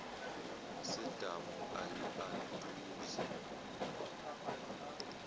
sedamu ayi aduze